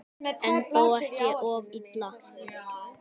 En þó ekki of illa.